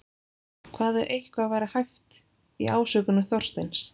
Hvað ef eitthvað væri hæft í ásökunum Þorsteins?